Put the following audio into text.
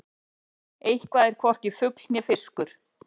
Eitthvað er hvorki fugl né fiskur